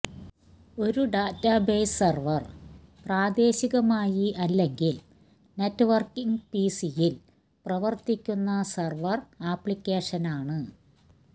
ഒരു database server പ്രാദേശികമായി അല്ലെങ്കിൽ നെറ്റ്വർക്കിങ് പിസിയിൽ പ്രവർത്തിക്കുന്ന സെർവർ ആപ്ലിക്കേഷനാണ്